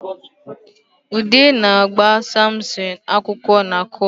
Ude na-agba Samson akwụkwọ na kọọtụ